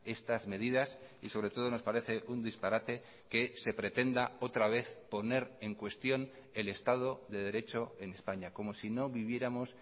estas medidas y sobre todo nos parece un disparate que se pretenda otra vez poner en cuestión el estado de derecho en españa como si no viviéramos